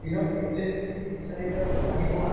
দিনত at least তুমি তিনি চাৰি litre যদি পানী খোৱা